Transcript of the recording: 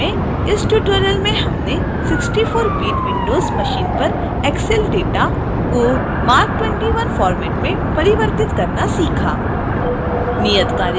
संक्षेप में इस ट्यूटोरियल में हमने 64bit windows मशीन पर excel data को marc 21 format में परिवर्तित करना सीखा